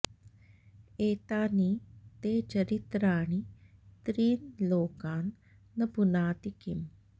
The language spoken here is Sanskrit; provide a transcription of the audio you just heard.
एतानि ते चरित्राणि त्रीन् लोकान् न पुनाति किम्